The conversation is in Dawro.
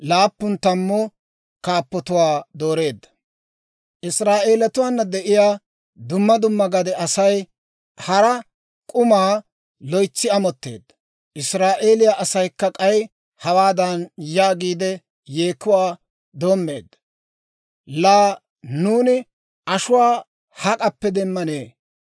Israa'eelatuwaana de'iyaa dumma dumma gade Asay hara k'umaa loytsi amotteedda. Israa'eeliyaa asaykka k'ay hawaadan yaagiide yeekuwaa doommeedda; «Laa nuuni ashuwaa hak'appe demmanee?